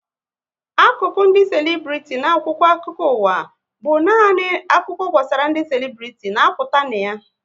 Akụkụ ndị selibriti na akwụkwọ akụkọ ụwa bụ nani akụkọ gbasara ndị selibriti na-apụta na ya